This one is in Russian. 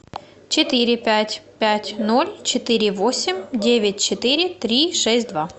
четыре пять пять ноль четыре восемь девять четыре три шесть два